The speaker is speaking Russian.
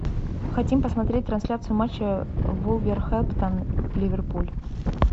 хотим посмотреть трансляцию матча вулверхэмптон ливерпуль